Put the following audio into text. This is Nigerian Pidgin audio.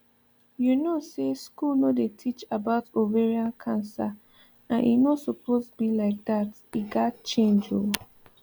you know say school no dey teach about ovarian cancer and e no suppose be like that e gat change ooo